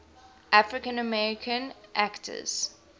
african american actors